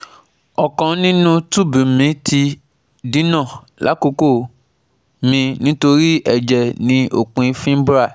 ọkan ninu tube mi ti dina lakoko mi nitori ẹjẹ ni opin fimbrial